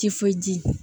Tifoyidi